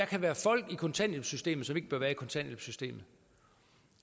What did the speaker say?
kan være folk i kontanthjælpssystemet som ikke bør være i kontanthjælpssystemet